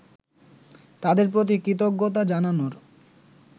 তাদের প্রতি কৃতজ্ঞতা জানানোর